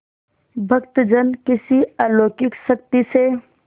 भक्तजन किसी अलौकिक शक्ति से